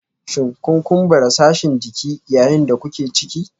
Shin kun kumbura sashin jiki yayin da kuke ciki?